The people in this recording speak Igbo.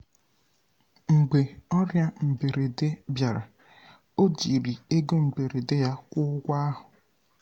mgbe ọrịa mberede bịara ọ jiri ego mberede ya kwụọ ụgwọ ahụ.